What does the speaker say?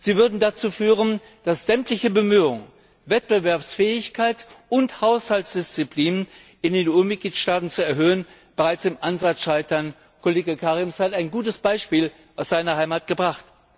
Sie würden dazu führen, dass sämtliche Bemühungen, die Wettbewerbsfähigkeit und Haushaltsdisziplin in den EU Mitgliedstaaten zu stärken, bereits im Ansatz scheitern. Kollege Kariņš hat ein gutes Beispiel aus seiner Heimat gebracht.